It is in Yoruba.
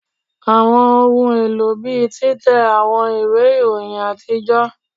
Awọn ohun elo bii titẹ awọn iwe iroyin atijọ